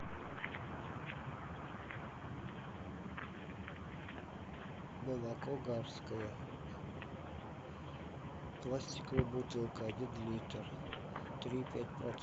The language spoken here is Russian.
молоко гарское пластиковая бутылка один литр три и пять процента